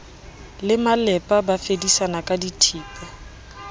le malepa ba fedisana kadithipa